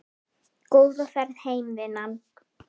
Góða ferð heim vinan.